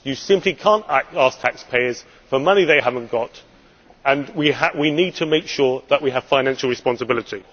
You simply cannot ask taxpayers for money they have not got, and we need to make sure that we have financial responsibility.